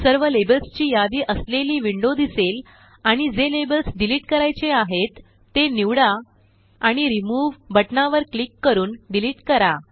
सर्व लेबल्सची यादी असलेली विंडो दिसेल आणि जे लेबल्स डिलीट करायचे आहेत ते निवडा आणि रिमूव्ह बटनावर क्लिक करूनडीलीटकरा